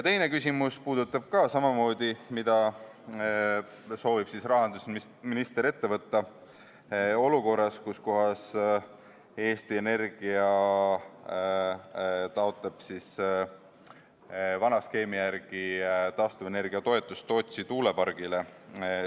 Teine küsimus puudutab ka sama teemat: mida soovib rahandusminister ette võtta olukorras, kus Eesti Energia taotleb vana skeemi järgi taastuvenergia toetust Tootsi tuulepargile?